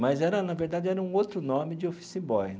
Mas era, na verdade, era um outro nome de office boy.